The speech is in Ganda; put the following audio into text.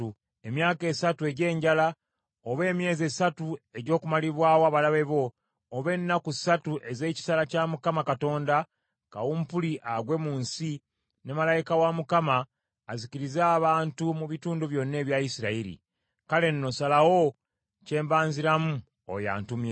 emyaka esatu egy’enjala, oba emyezi esatu egy’okumalibwawo abalabe bo, oba ennaku ssatu ez’ekitala kya Mukama Katonda, kawumpuli agwe mu nsi, ne malayika wa Mukama azikirize abantu mu bitundu byonna ebya Isirayiri.’ Kale nno, ssalawo kye mbanziramu oyo antumye.”